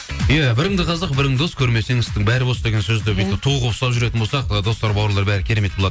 иә біріңді қазақ бірің дос көрмесең істің бәрі бос деген сөзді бүйтіп ту қылып ұстап жүретін болсақ ы достар бауырлар бәрі керемет болады